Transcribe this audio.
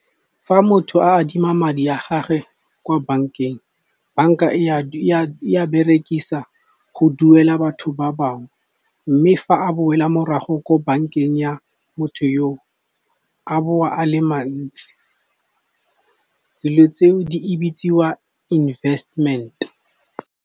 Fa motho a adima madi a gagwe kwa bank-eng, bank-a e a berekisa go duela batho ba bangwe. Mme fa a boela morago ko bank-eng ya motho yo o, a boa a le mantsi dilo tseo di bitsiwa investment.